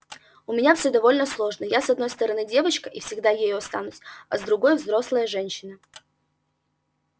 у меня все довольно сложно я с одной стороны девочка и всегда ею останусь а с другой взрослая женщина